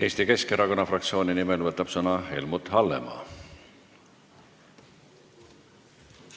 Eesti Keskerakonna fraktsiooni nimel võtab sõna Helmut Hallemaa.